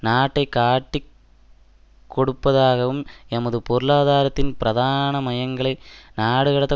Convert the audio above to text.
நாட்டை காட்டிக் கொடுப்பதாகவும் எமது பொருளாதாரத்தின் பிரதான மையங்களை நாடுகடந்த